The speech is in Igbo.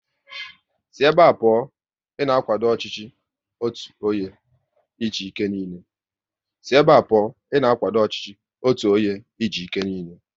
Sị ébé a pụọ! Ị na akwado ọchịchị otu onye e ji ike niile